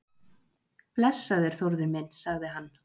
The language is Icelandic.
Blessaður, Þórður minn sagði hann.